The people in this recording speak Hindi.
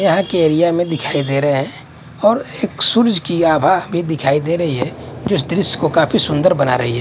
यहाँ के एरिया में दिखाई दे रहा है और एक सूरज की आभा दिखाई दे रही है जो इस दृश्य को काफी सूंदर बना रही है।